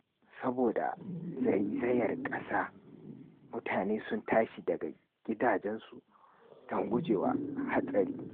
Saboda zaizayar ƙasa, mutane sun tashi daga gidajensu don guje wa hatsari.